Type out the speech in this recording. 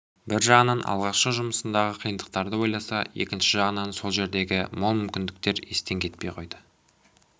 бір жағынан алғашқы жұмысындағы қиындықтарды ойласа екінші жағынан осы жердегі мол мүмкіндіктер естен кетпей қойды